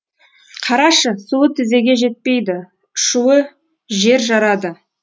қарашы суы тізеге жетпейді шуы жер жарады